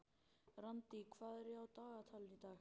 Randý, hvað er á dagatalinu í dag?